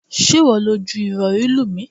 Ṣé ìwọ lọ ju Ìrọ̀rí lù mí?